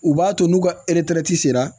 U b'a to n'u ka sera